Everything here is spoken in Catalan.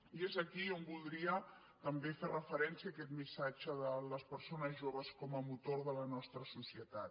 i és aquí on voldria també fer referència a aquest missatge de les persones joves com a motor de la nostra societat